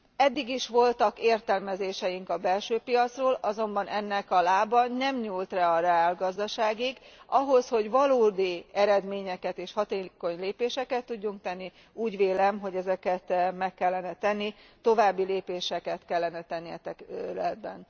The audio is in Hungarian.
Eddig is voltak értelmezéseink a belső piacról, azonban ennek a lába nem nyúlt le a reálgazdaságig, ahhoz, hogy valódi eredményeket, és hatékony lépéseket tudjunk tenni, úgy vélem, hogy ezeket meg kellene tenni, további lépéseket kellene tenni ebben a tekintetben.